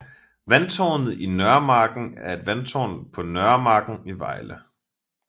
Vandtårnet på Nørremarken er et vandtårn på Nørremarken i Vejle